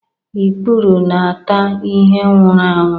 Ikpuru na-ata ihe nwụrụ anwu